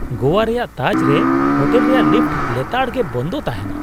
ᱜᱳᱣᱟ ᱨᱮᱭᱟᱜ ᱛᱟᱡᱽ ᱨᱮ ᱦᱳᱴᱮᱞ ᱨᱮᱭᱟᱜ ᱞᱤᱯᱷᱴ ᱞᱮᱛᱟᱲ ᱜᱮ ᱵᱚᱱᱫᱚ ᱛᱟᱦᱮᱱᱟ ᱾